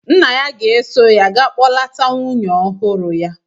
Nna ya ga-eso ya ga kpọlata nwunye ọhụrụ ya.